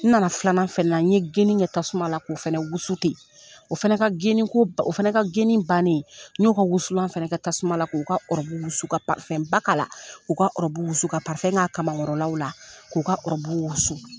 N nana filanan fɛnɛ na, n ye geni kɛ tasuma la, k'o fɛnɛ wusu ten o fana ka geni ko o fana ka geni bannen, n ɲo ka wusulan fɛnɛ kɛ tasuma la, ko ka wusu ka la, k'u ka wusu ka k'a kamakɔrɔlaw la, k'u ka wusu.